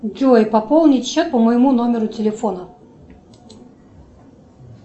джой пополнить счет по моему номеру телефона